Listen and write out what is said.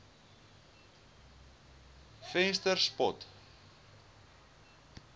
venterspost